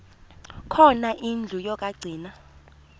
khona indlu yokagcina